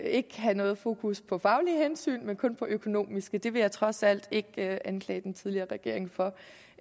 ikke at have noget fokus på faglige hensyn men kun på økonomiske det vil jeg trods alt ikke anklage den tidligere regering for